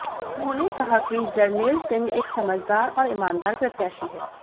उन्होंने कहा कि जरनैल सिंह एक समझदार और ईमानदार प्रत्याशी हैं